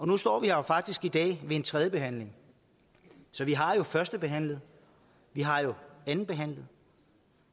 nu står vi her faktisk i dag ved en tredje behandling så vi har jo førstebehandlet vi har jo andenbehandlet